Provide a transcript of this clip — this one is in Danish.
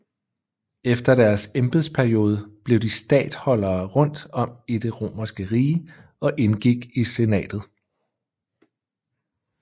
Efter deres embedsperiode blev de statholdere rundt om i det romerske rige og indgik i senatet